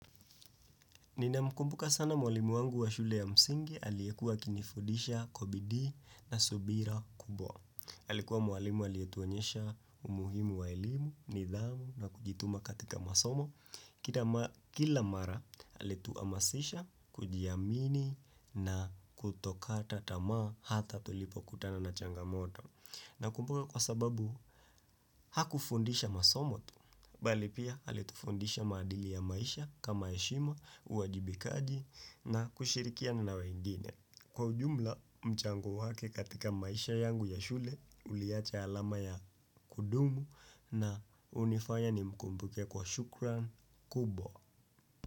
Nina mkumbuka sana mwalimu wangu wa shule ya msingi, aliyekuwa akinifudisha kwa bidii na subira kubwa. Alikuwa mwalimu aliyetuonyesha umuhimu wa elimu, nidhamu na kujituma katika masomo. Kila mara kila mara alituamasisha, kujiamini na kutokata tamaa hata tulipo kutana na changamoto. Nakumbuka kwa sababu, hakufundisha masomo tu, bali pia halitufundisha madili ya maisha kama heshima, uajibikaji na kushirikiana na wengine. Kwa ujumla, mchango wake katika maisha yangu ya shule, uliacha alama ya kudumu na unifanya nimkumbuke kwa shukran kubwa.